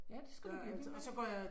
Ja det skal du blive ved med